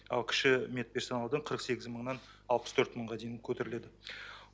ал кіші медперсоналдар қырық сегіз мыңнан алпыс төрт мыңға дейін көтеріледі